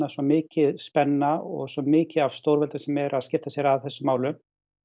svo mikil spenna og svo mikið af stórveldum sem eru að skipta sér að þessum málum